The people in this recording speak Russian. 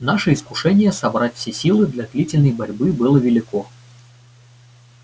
наше искушение собрать все силы для длительной борьбы было велико